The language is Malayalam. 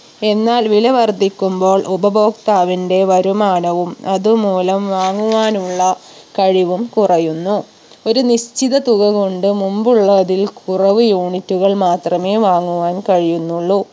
എന്നാൽ വില വർധിക്കുമ്പോൾ ഉപഭോക്താവിന്റെ വരുമാനവും അതുമൂലം വാങ്ങുവാനുള്ള കഴിവും കുറയുന്നു ഒരു നിശ്‌ചിത തുക കൊണ്ട് മുമ്പുള്ള അതിൽ കുറവ് unit കൾ മാത്രമേ വാങ്ങുവാൻ കഴിയുന്നുള്ളൂ